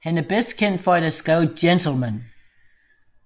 Han er bedst kendt for at have skrevet Gentleman